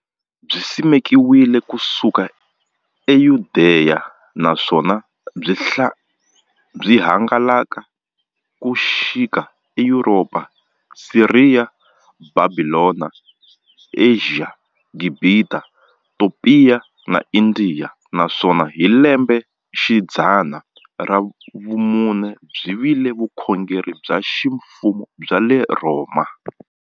Byisimekiwe ku suka e Yudeya, naswona byi hangalake ku xika e Yuropa, Siriya, Bhabhilona, Ashiya, Gibhita, Topiya na Indiya, naswona hi lembexidzana ra vumune byi vile vukhongeri bya ximfumo bya le Rhoma.